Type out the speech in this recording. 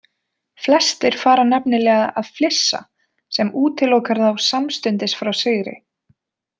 Flestir fara nefnilega að flissa sem útilokar þá samstundis frá sigri.